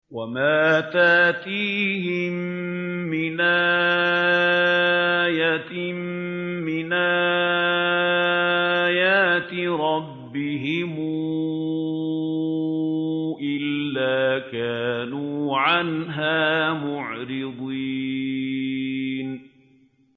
وَمَا تَأْتِيهِم مِّنْ آيَةٍ مِّنْ آيَاتِ رَبِّهِمْ إِلَّا كَانُوا عَنْهَا مُعْرِضِينَ